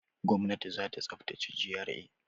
Gwamnati za ta tsaftace GRA.